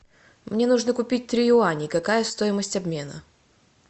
мне нужно купить три юаня какая стоимость обмена